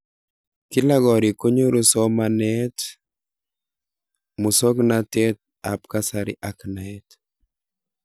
Kila korikkonyoru somanet, musoknatet ab kasari ak naet.